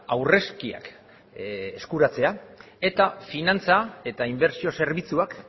aurrezkiak eskuratzea eta finantza eta inbertsio zerbitzuak